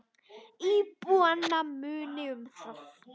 Íbúana muni um það.